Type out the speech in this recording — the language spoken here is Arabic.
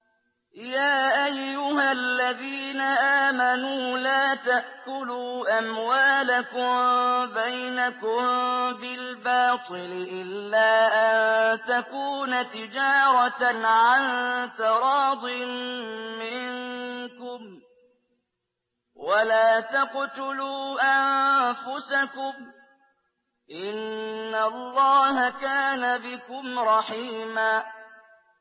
يَا أَيُّهَا الَّذِينَ آمَنُوا لَا تَأْكُلُوا أَمْوَالَكُم بَيْنَكُم بِالْبَاطِلِ إِلَّا أَن تَكُونَ تِجَارَةً عَن تَرَاضٍ مِّنكُمْ ۚ وَلَا تَقْتُلُوا أَنفُسَكُمْ ۚ إِنَّ اللَّهَ كَانَ بِكُمْ رَحِيمًا